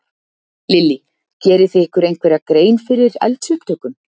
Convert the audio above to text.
Lillý: Gerið þið ykkur einhverja grein fyrir eldsupptökum?